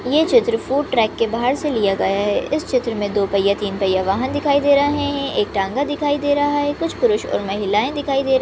ये चित्र food truck बाहर से लिया गया है इस चित्र मे दो पय्या तीन पय्या वाहन दिखाई दे रहा है एक टांगा दिखाई दे रहा है कुछ पुरुष और महिलाए दिखाई दे रहे--